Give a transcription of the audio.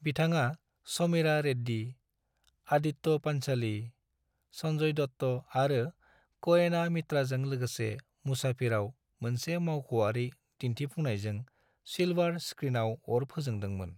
बिथाङा समीरा रेड्डी, आदित्य पांच'ली, संजय दत्त आरो क'एना मित्राजों लोगोसे मुसाफिरआव मोनसे मावख'आरि दिन्थिफुंनायजों सिल्वार स्क्रीनआव अर फोजोंदोंमोन।